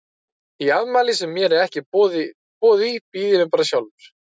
Í afmæli sem mér er ekki boðið í býð ég mér bara sjálfur.